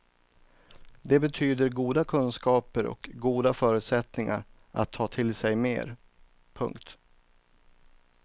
Det betyder goda kunskaper och goda förutsättningar att ta till sig mer. punkt